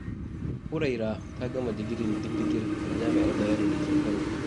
Huraira ta gama digirin digirgir a Jami'ar Bayero da take Kano.